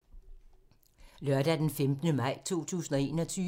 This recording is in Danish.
Lørdag d. 15. maj 2021